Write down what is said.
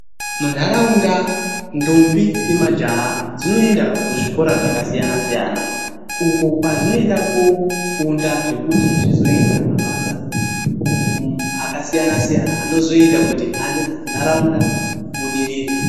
Munharaunda, ndombi nemajaha dzinoenda kuzvikora zvakasiyana siyana. Uko kwazvinoenda koofunda zvekuti zvizoita mabasa akasiyana siyana anozoita kuti nharaunda ibudirire.